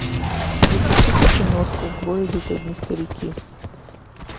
запусти ка киношку в бой идут одни старики